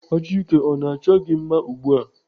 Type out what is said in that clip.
Achike ọ na-achọ gị mma ugbu a?